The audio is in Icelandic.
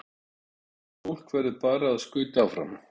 Þannig að fólk verður bara að skauta áfram?